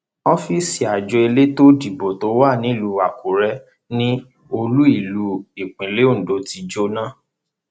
ọfíìsì àjọ elétò ìdìbò tó wà nílùú àkúrẹ ni olúìlú ìpínlẹ ondo ti jóná